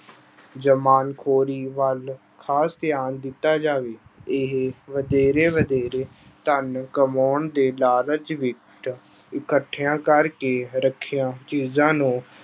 ਜਮਾਖੋਰੀ ਵੱਲ ਖ਼ਾਸ ਧਿਆਨ ਦਿੱਤਾ ਜਾਵੇ, ਇਹ ਵਧੇਰੇ ਵਧੇਰੇ ਧਨ ਕਮਾਉਣ ਦੇ ਲਾਲਚ ਵਿੱਚ ਇਕੱਠਿਆਂ ਕਰਕੇ ਰੱਖੀਆਂ ਚੀਜ਼ਾਂ ਨੂੰ